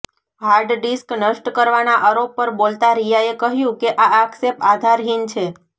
hard disk નષ્ટ કરવાના આરોપ પર બોલતા રિયાએ કહ્યું કે આ આક્ષેપ આધારહીન છે